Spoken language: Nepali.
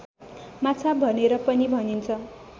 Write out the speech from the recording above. माछा भनेर पनि भनिन्छ